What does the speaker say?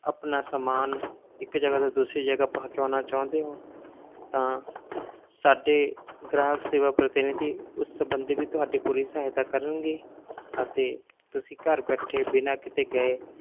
ਆਪਣਾ ਸਮਾਨ ਇੱਕ ਜਗਾ ਤੋਂ ਦੂਸਰੀ ਜਗਾ ਪਹੁੰਚਾਉਣਾ ਚਾਹੁੰਦੇ ਹੋ ਤਾਂ ਸਾਡੇ ਗ੍ਰਾਹਕ ਸੇਵਾ ਪ੍ਰਤੀਨਿਧੀ ਉਸ ਸੰਬੰਧੀ ਵੀ ਤੁਹਾਡੀ ਪੂਰੀ ਸਹਾਇਤਾ ਕਰਨਗੇ ਅਤੇ ਤੁਸੀਂ ਘਰ ਬੈਠੇ ਬਿਨਾਂ ਕਿਤੇ ਗਏ,